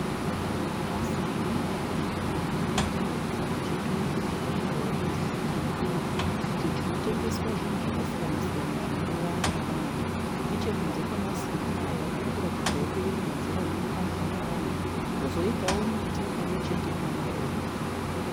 Masimbi akavakwa akakomberedza chitoro chakanyorwawo kunzi Pick and Pay icho chinootengesa zvinhu zvakasiyana siyana zvinodiwa navanhu. Nechekunze kwamasimbi aya kuri kuratidzawo kuve nenzira inofambwa navanhu. Kozoitawo miti pamwe chete namaruva.